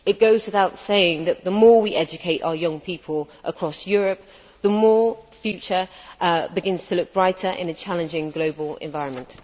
It goes without saying that, the more we educate our young people across Europe, the more the future begins to look brighter in a challenging global environment.